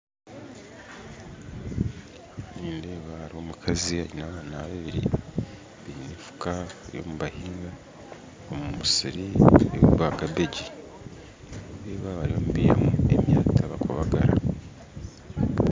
Nindeeba omukazi aine abaana babiiri baine efuuka bariyo nibahiga omu musiiri gwa kabeegi nindeeba barimu nibaihamu omwata bakubagara